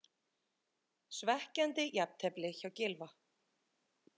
Svekkjandi jafntefli hjá Gylfa